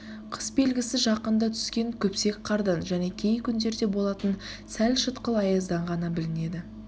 қыс белгісі жақында тұскен күпсек қардан және кей күндерде болатын сәл шытқыл аяздан ғана білінеді